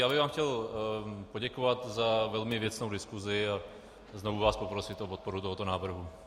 Já bych vám chtěl poděkovat za velmi věcnou diskusi a znovu vás poprosit o podporu tohoto návrhu.